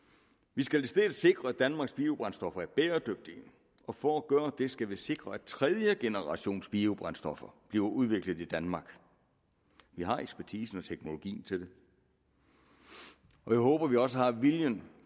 vi skal i stedet sikre at danmarks biobrændstoffer er bæredygtige og for at gøre det skal vi sikre at tredjegenerationsbiobrændstoffer bliver udviklet i danmark vi har ekspertisen og teknologien til det og jeg håber vi også har viljen